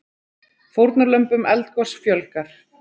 Fórnarlömbum eldgoss fjölgar